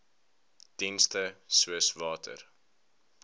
dienste soos water